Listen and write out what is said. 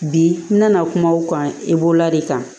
Bi n na kuma o kan i bolola de kan